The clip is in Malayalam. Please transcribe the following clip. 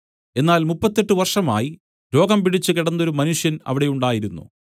എന്നാൽ മുപ്പത്തെട്ടു വർഷമായി രോഗംപിടിച്ച് കിടന്നൊരു മനുഷ്യൻ അവിടെ ഉണ്ടായിരുന്നു